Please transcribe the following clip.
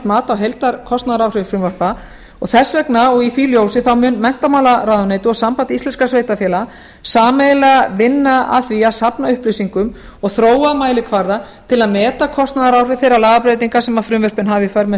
mat á heildarkostnaðaráhrif frumvarpa og þess vegna og í því ljósi mun menntamálaráðuneytið og samband íslenskum sveitarfélaga sameiginlega vinna að því að safna upplýsingum og þróa mælikvarða til að meta kostnaðaráhrif þeirra lagabreytinga sem frumvörpin hafa í för með